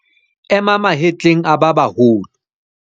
Ema mahetleng a ba baholo.